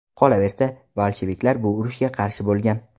Qolaversa, bolsheviklar bu urushga qarshi bo‘lgan.